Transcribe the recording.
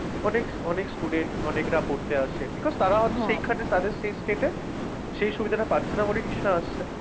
অনেক অনেক student অনেকরা পড়তে আসে। because তারা হয়তো সেইখানে তাদের same state এ সেই সুবিধাটা পাচ্ছে না বলেই নিশ্চয়ই আসছে।